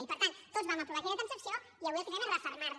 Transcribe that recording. i per tant tots vam aprovar aquella transacció i avui el que fem és refermar la